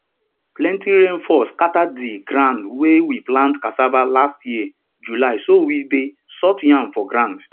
plenty rain fall scatter di ground wey we plant cassava last year july so we dey sort yam for ground